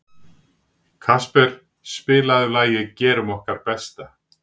Kasper, spilaðu lagið „Gerum okkar besta“.